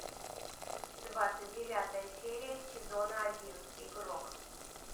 двадцать девятая серия сезона один игрок